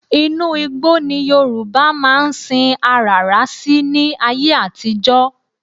Inú igbó́ ni Yorùbá máa ń sin aràrá sí ní ayé àtijọ́